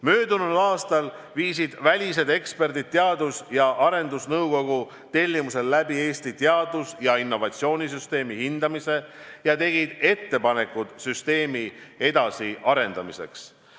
Möödunud aastal hindasid välised eksperdid Teadus- ja Arendusnõukogu tellimusel Eesti teadus- ja innovatsioonisüsteemi ning tegid ettepanekud süsteemi edasiarendamiseks.